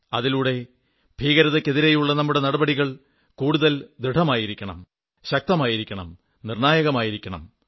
അതിലൂടെ ഭീകരതയ്ക്കെതിരെയുള്ള നമ്മുടെ നടപടികൾ കൂടുതൽ ദൃഢമായിരിക്കണം ശക്തമായിരിക്കണം നിർണ്ണായകമായിരിക്കണം